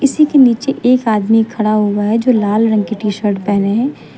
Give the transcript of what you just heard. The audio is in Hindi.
इसी के नीचे एक आदमी खड़ा हुआ है जो लाल रंग की टी शर्ट पहने हैं।